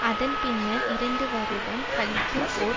அதன் பின்னர் இரண்டு வருடம் கழித்துஓர்